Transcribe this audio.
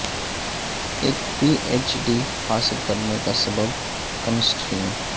ایک P H D حاصل کرنے کا سبب کیمسٹری میں